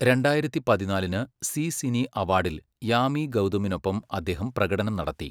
രണ്ടായിരത്തി പതിനാലിന് Zee Cine അവാർഡിൽ യാമി ഗൗതമിനൊപ്പം അദ്ദേഹം പ്രകടനം നടത്തി.